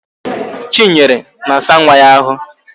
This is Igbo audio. Chinyere na-asa nwa ya ahụ